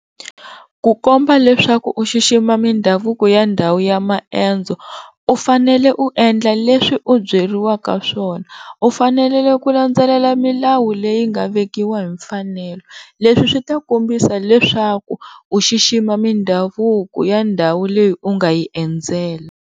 Ku komba leswaku u xixima mindhavuko ya ndhawu ya maendzo u fanele u endla leswi u byeriwaka swona, u fanele ku landzelela milawu leyi nga vekiwa hi mfanelo leswi swi ta kombisa leswaku u xixima mindhavuko ya ndhawu leyi u nga yi endzela.